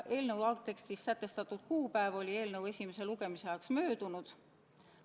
Eelnõu algtekstis sätestatud kuupäev oli eelnõu esimese lugemise ajaks möödunud.